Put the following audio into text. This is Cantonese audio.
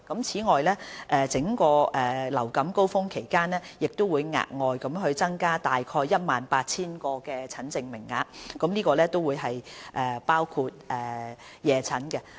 此外，在整個流感高峰期亦會額外增加大概 18,000 個診症名額，當中包括夜診。